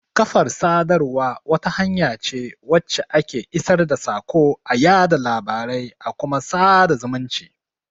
Kafar sadarwa wata hanya ce wacce ake isar da saƙo,a yaɗa labarai a kuma sada zumunci.